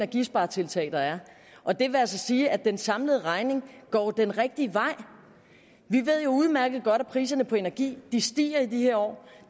de sparetiltag der er og det vil altså sige at den samlede regning går den rigtige vej vi ved jo udmærket godt at priserne på energi stiger i de her år